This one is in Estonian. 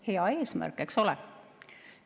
Hea eesmärk, eks ole?